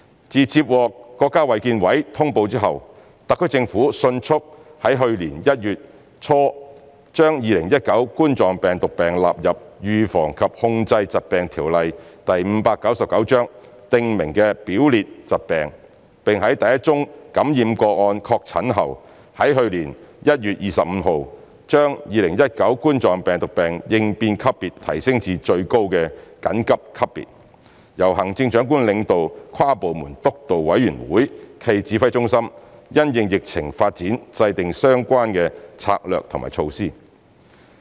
自接獲國家衞健委通報後，特區政府迅速地於去年1月初將2019冠狀病毒病納入《預防及控制疾病條例》訂明的表列疾病；並在第一宗感染個案確診後，在去年1月25日將2019冠狀病毒病應變級別提升至最高的"緊急"級別，由行政長官領導跨部門督導委員會暨指揮中心，因應疫情發展制訂相關策略和措施。